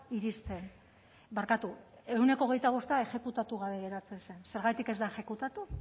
iristen barkatu ehuneko hogeita bosta exekutatu gabe geratzen zen zergatik ez da exekutatu